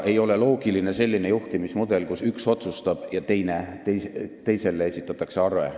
Ei ole loogiline selline juhtimismudel, kus üks otsustab ja teisele esitatakse arve.